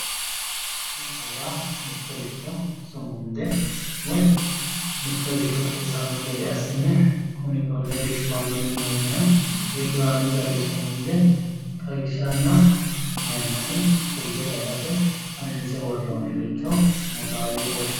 Sumuda yaa mittoricho sumunde woyi mittoricho xawisanno gede assine kuni konne riqiwanno yinoonniha, riqiwanno garinni sumunde xawishshanna mayiimmasi kulle dagate xawinse worroonniricho sumuda yinanni.